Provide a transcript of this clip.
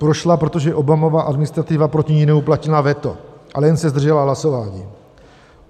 Prošla, protože Obamova administrativa proti ní neuplatnila veto, ale jen se zdržela hlasování.